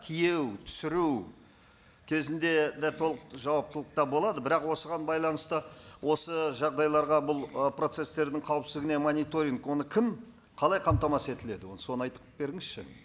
тиеу түсіру кезінде де толық жауаптылықта болады бірақ осыған байланысты осы жағдайларға бұл ы процесстердің қауіпсіздігіне мониторинг оны кім қалай қамтамасыз етіледі ол соны айтып беріңізші